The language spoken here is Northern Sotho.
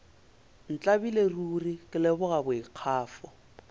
ntlabile ruri ke leboga boikgafo